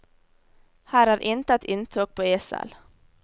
Her er intet inntog på esel.